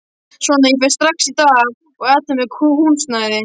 Svona, ég fer strax í dag að athuga með húsnæði